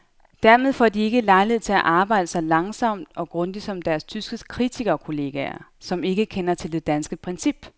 Dermed får de ikke lejlighed til at arbejde så langsomt og grundigt som deres tyske kritikerkolleger, som ikke kender til det danske princip.